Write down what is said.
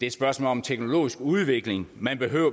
et spørgsmål om teknologisk udvikling